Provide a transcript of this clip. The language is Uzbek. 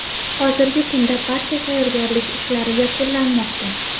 Hozirgi kunda barcha tayyorgarlik ishlari yakunlanmoqda.